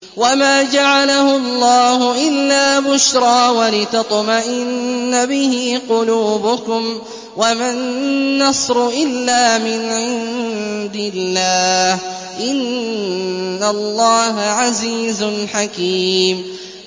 وَمَا جَعَلَهُ اللَّهُ إِلَّا بُشْرَىٰ وَلِتَطْمَئِنَّ بِهِ قُلُوبُكُمْ ۚ وَمَا النَّصْرُ إِلَّا مِنْ عِندِ اللَّهِ ۚ إِنَّ اللَّهَ عَزِيزٌ حَكِيمٌ